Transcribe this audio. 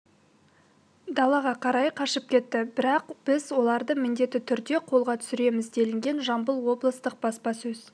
далаға қарай қашып кетті бірақ біз оларды міндеті түрде қолға түсіреміз делінген жамбыл облыстық баспасөз